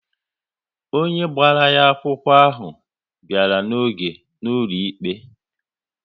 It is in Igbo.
Onye gbara ya akwụkwọ ahụ bịara n'oge na-ụlọ ikpe